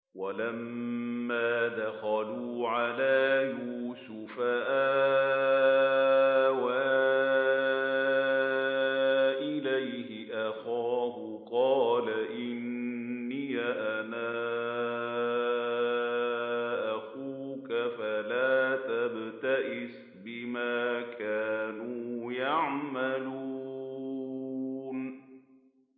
وَلَمَّا دَخَلُوا عَلَىٰ يُوسُفَ آوَىٰ إِلَيْهِ أَخَاهُ ۖ قَالَ إِنِّي أَنَا أَخُوكَ فَلَا تَبْتَئِسْ بِمَا كَانُوا يَعْمَلُونَ